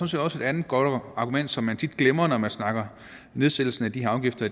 set også et andet godt argument som man tit glemmer når man snakker nedsættelse af de her afgifter